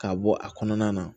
K'a bɔ a kɔnɔna na